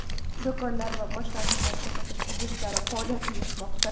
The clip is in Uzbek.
do‘konlar va boshqa xizmat ko‘rsatish obyektlari faoliyat yuritmoqda.